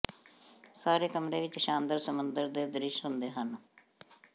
ਸਾਰੇ ਕਮਰੇ ਵਿੱਚ ਸ਼ਾਨਦਾਰ ਸਮੁੰਦਰ ਦੇ ਦ੍ਰਿਸ਼ ਹੁੰਦੇ ਹਨ